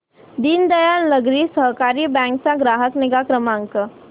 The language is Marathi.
दीनदयाल नागरी सहकारी बँक चा ग्राहक निगा क्रमांक